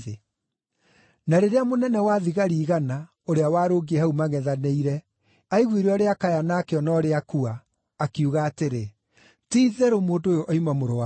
Na rĩrĩa mũnene-wa-thigari-igana, ũrĩa warũngiĩ hau mangʼethanĩire, aiguire ũrĩa akaya na akĩona ũrĩa akua, akiuga atĩrĩ, “Ti-itherũ mũndũ ũyũ oima Mũrũ wa Ngai!”